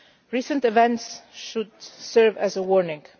Recent events should serve as a